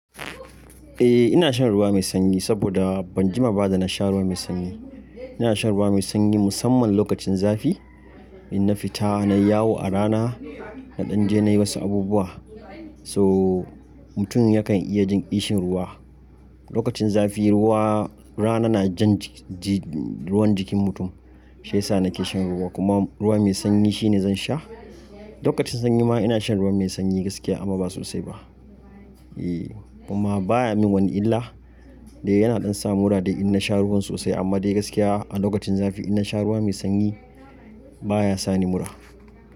Eh ina shan ruwa mai sanyi saboda ban jima ba da na sha ruwa mai sanyi. Ina shan ruwa mai sanyi musamman lokacin zafi in na fita nayi yawo a rana na danje nayi wasu abubuwa. To mutum yakan iya jin ƙishin ruwa. Lokacin zafi ruwa rana na jan ruwan jikin mutum shiyasa nake shan ruwa kuma ruwa mai sanyi shine zan sha. Lokacin sanyi ma ina shan ruwa mai sanyi gaskiya amma ba sosai ba. E kuma baya min wani illa dai yana dan sa mura dai ina sha ruwan sosai amma dai gaskiya a lokacin zafi ina sha ruwa mai sanyi baya sani mura.